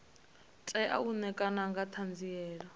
tea u ṋekana nga ṱhanziela